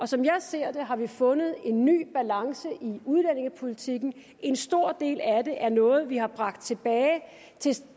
som jeg ser det har vi fundet en ny balance i udlændingepolitikken og en stor del af det er noget vi har bragt tilbage